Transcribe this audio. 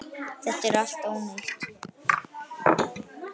Það er allt ónýtt.